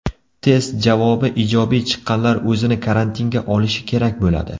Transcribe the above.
Test javobi ijobiy chiqqanlar o‘zini karantinga olishi kerak bo‘ladi.